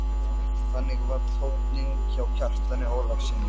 Þannig var tónninn hjá Kjartani Ólafssyni.